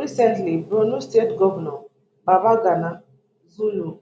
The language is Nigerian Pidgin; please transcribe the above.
recently borno state govnor babagana zulum